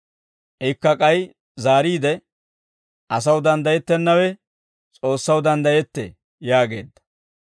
Ikka k'ay zaariide, «Asaw danddayettennawe S'oossaw danddayettee» yaageedda.